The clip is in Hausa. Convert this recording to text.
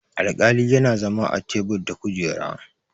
alƙali yana zama a tebur da kujera